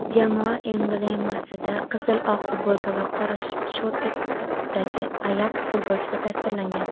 jamoa emblemasida qizil-oq futbolka va qora shortikdagi "Ayaks" futbolchisi tasvirlangan.